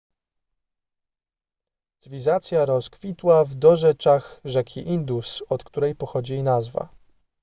cywilizacja rozkwitła w dorzeczach rzeki indus od której pochodzi jej nazwa